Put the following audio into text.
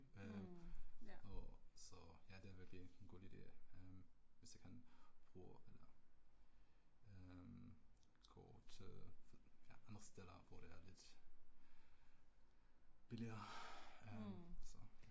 Øh og så ja det virkelig en god ide øh hvis jeg kan bruge eller øh gå til ja andre steder hvor det er lidt billigere, æh så